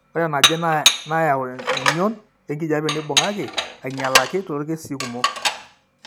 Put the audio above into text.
Ore enaje nayau eng'ion enkijiape neibung'aki ainyialaki toorkesii kumok.